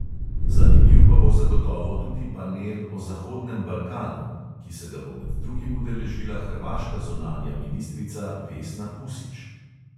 Zanimiv pa bo zagotovo tudi panel o zahodnem balkanu, ki se ga bo med drugim udeležila hrvaška zunanja ministrica vesna pusić.